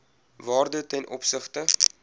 waarde ten opsigte